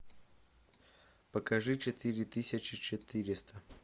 покажи четыре тысячи четыреста